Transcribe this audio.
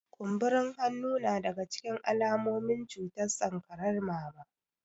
Kumburin hannu na daga cikin alamomin cutar sankarar mama